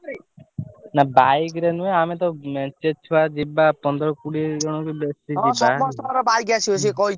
ନା bike ରେ ନୁହ ଆମେ ସବୁ ପନ୍ଦର କୋଡିଏ ଜଣ ଯିବା ।